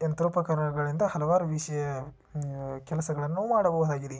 ಯಂತ್ರೋಪಕರಣಗಳಿಂದ ಹಲವಾರು ವಿಷಯ ಉಮ್ ಕೆಲಸಗಳನ್ನು ಮಾಡ್ಬಹುದಾಗಿದೆ.